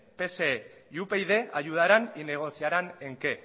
psoe y upyd ayudaran y negociaran en qué